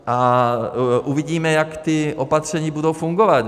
A uvidíme, jak ta opatření budou fungovat.